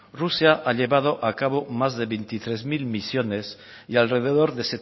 rusia ha llevado a cabo más de veintitrés mil misiones y alrededor